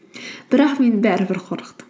бірақ мен бәрібір қорқтым